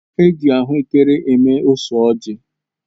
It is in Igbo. Eji ahụekere eme ose ọji